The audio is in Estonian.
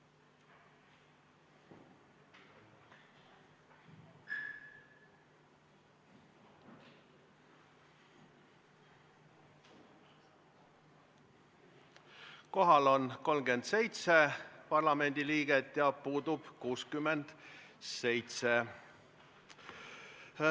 Kohaloleku kontroll Kohal on 37 parlamendi liiget ja puudub 67.